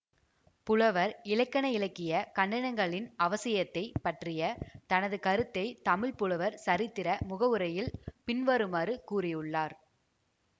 புலவர் இலக்கணயிலக்கிய கண்டனங்களின் அவசியத்தைப் பற்றிய தனது கருத்தை தமிழ் புலவர் சரித்திர முகவுரையில் பின்வருமாறு கூறியுள்ளார்